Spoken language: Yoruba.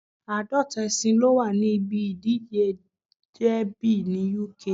Àádọ́ta ẹṣin ló wà ní ibi ìdíje dẹ́bì ní Uk